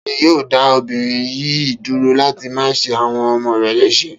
Ta ni yóò dá obìnrin yìí dúró láti má ṣe àwọn ọmọ rẹ̀ léṣe?